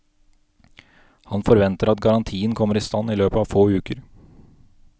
Han forventer at garantien kommer i stand i løpet av få uker.